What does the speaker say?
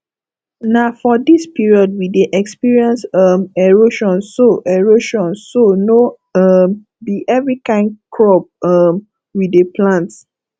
na for dis period we dey experience um erosion so erosion so no um be every kyn crop um we dey plant